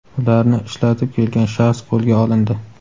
ularni ishlatib kelgan shaxs qo‘lga olindi.